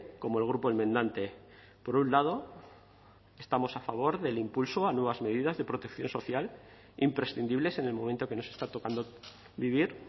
como el grupo enmendante por un lado estamos a favor del impulso a nuevas medidas de protección social imprescindibles en el momento que nos está tocando vivir